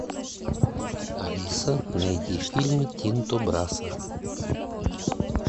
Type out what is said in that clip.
алиса найди фильмы тинто брасса